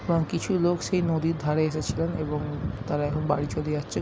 এবং কিছু লোক সেই নদীর ধারে এসেছিলেন এবং তারা এখন বাড়ি চলে যাচ্ছেন।